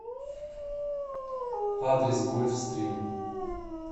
адрес гольф стрим